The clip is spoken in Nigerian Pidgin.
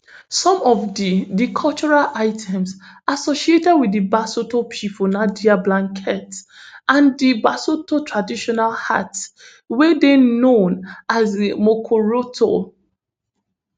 some of di di cultural items associated wit di basotho pipo na dia blankets and di basotho traditional hats wey dey known as di mokorotlo